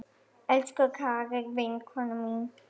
Elsku Kari vinkona mín.